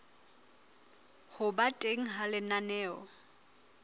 ho ba teng ha lenaneo